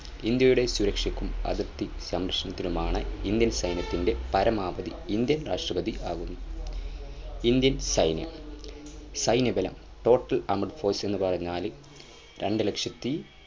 ഇന്ത്യയുടെ സുരക്ഷയ്ക്കും അതിർത്തി സംരക്ഷണത്തിനുമാണ് Indian സൈന്യത്തിൻ്റെ പരമാധി Indian രാഷ്ട്രപതി ആകുന്നു Indian സൈന്യം സൈന്യബലം total armed force എന്ന് പറഞ്ഞാല് രണ്ടു ലക്ഷത്തി